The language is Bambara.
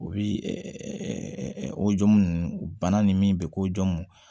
U bi o jomu nunnu bana ni min bɛ